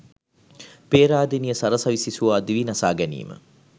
පේරාදෙණිය සරසවි සිසුවා දිවිනසා ගැනීම